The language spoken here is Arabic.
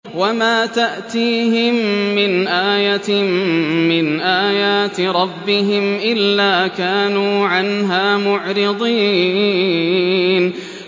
وَمَا تَأْتِيهِم مِّنْ آيَةٍ مِّنْ آيَاتِ رَبِّهِمْ إِلَّا كَانُوا عَنْهَا مُعْرِضِينَ